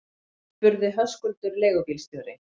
spurði Höskuldur leigubílstjóri.